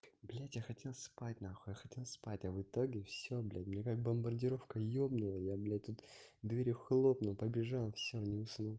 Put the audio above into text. блядь я хотел спать нахуй я хотел спать а в итоге всё блядь мне как бомбардировка ёбнула я блядь тут дверью хлопнул побежал всё не уснул